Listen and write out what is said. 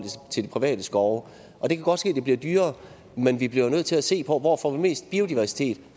til de private skove og det kan godt ske det bliver dyrere men vi bliver jo nødt til at se på hvor får vi mest biodiversitet